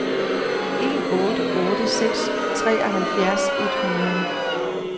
en otte otte seks treoghalvfjerds et hundrede